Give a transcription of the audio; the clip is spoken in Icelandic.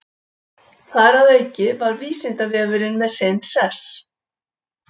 Þar að auki var Vísindavefurinn með sinn sess.